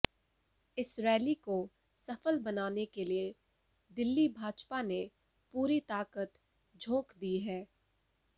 इस रैली को सफल बनाने के लिए दिल्ली भाजपा ने पूरी ताकत झोंक दी है